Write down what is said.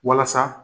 Walasa